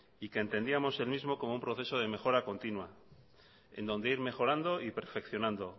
y que entendíamos el mismo como un proceso de mejora continua en donde ir mejorando y perfeccionando